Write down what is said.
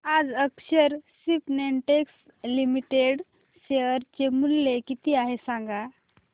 आज Akshar Spintex limited चे share मूल्य किती आहे सांगा